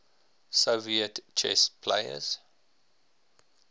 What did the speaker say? soviet chess players